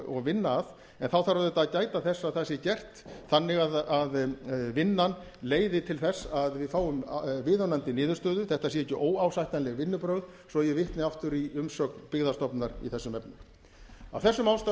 og vinna að en þá þarf auðvitað að gæta þess að það sé gert þannig að vinnan leiði til þess að við fáum viðunandi niðurstöðu þetta séu ekki óásættanleg vinnubrögð svo ég vitni aftur í umsögn byggðastofnunar í þessum efnum af þessum ástæðum